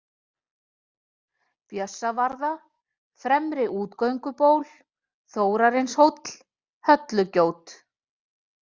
Bjössavarða, Fremra-Útigönguból, Þórarinshóll, Höllugjót